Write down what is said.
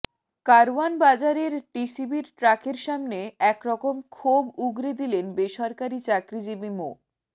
কারওয়ানবাজারের টিসিবির ট্রাকের সামনে একরকম ক্ষোভ উগরে দিলেন বেসরকারি চাকরিজীবী মো